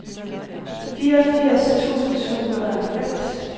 fireogfirs tusind syv hundrede og halvfems